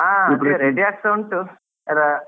ಹಾ ಅದೇ ready ಆಗ್ತಾ ಉಂಟು.